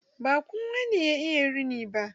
Ba kowa ne ya iya rini.